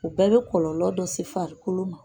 O bɛɛ bɛ kɔlɔlɔ dɔ se farikolo ma.